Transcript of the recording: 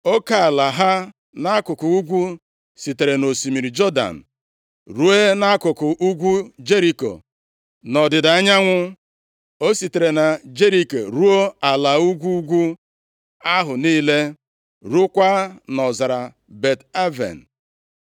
Oke ala ha nʼakụkụ ugwu sitere nʼosimiri Jọdan ruo nʼakụkụ ugwu Jeriko. Nʼọdịda anyanwụ o sitere na Jeriko ruo ala ugwu ugwu ahụ niile, ruokwa nʼọzara Bet-Aven.